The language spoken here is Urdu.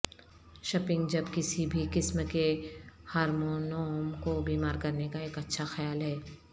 شپنگ جب کسی بھی قسم کے ہارمونوم کو بیمار کرنے کا ایک اچھا خیال ہے